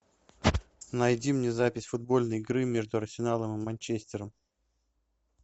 найди мне запись футбольной игры между арсеналом и манчестером